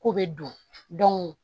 K'u bɛ don